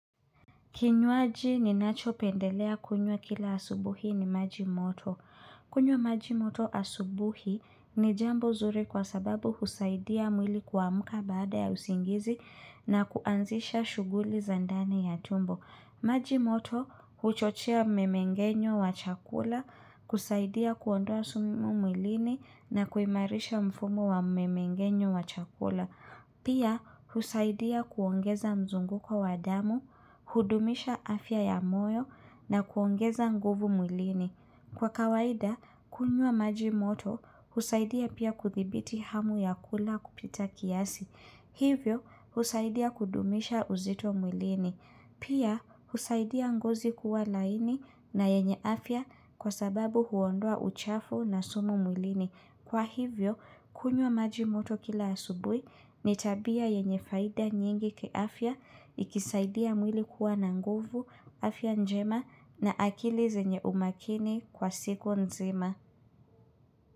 Kinywaji ninachopendelea kunywa kila asubuhi ni maji moto. Kunywa maji moto asubuhi, ni jambo zuri kwa sababu husaidia mwili kuamuka baada ya usingizi na kuanzisha shughuli za ndani ya tumbo. Maji moto huchochea mmemengenyo wa chakula kusaidia kuondoa sumu mwilini na kuimarisha mfumo wa mmemengenyo wa chakula. Pia husaidia kuongeza mzunguko wa damu, hudumisha afya ya moyo na kuongeza nguvu mwilini. Kwa kawaida, kunywa maji moto, husaidia pia kuthibiti hamu ya kula kupita kiasi. Hivyo, husaidia kudumisha uzito mwilini. Pia, husaidia ngozi kuwa laini na yenye afya kwa sababu huondoa uchafu na sumu mwilini. Kwa hivyo, kunywa maji moto kila asubui ni tabia yenye faida nyingi kiafya ikisaidia mwili kuwa na nguvu, afya njema na akili zenye umakini kwa siku nzima.